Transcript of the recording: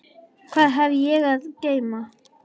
Hvað hef ég að geyma?